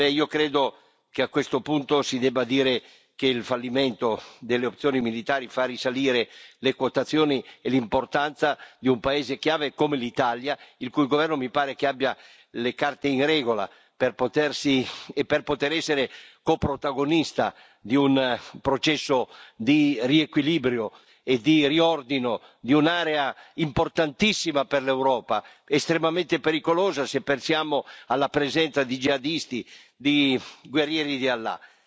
Io credo che a questo punto si debba dire che il fallimento delle opzioni militari fa risalire le quotazioni e l'importanza di un paese chiave come l'Italia, il cui governo mi pare che abbia le carte in regola per poter essere coprotagonista di un processo di riequilibrio e di riordino di un'area importantissima per l'Europa, estremamente pericolosa se pensiamo alla presenza di jihadisti, di guerrieri di Allah.